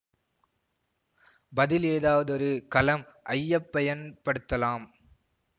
பதில் ஏதாவதொரு களம் ஐயப்பயன்படுத்தலாம்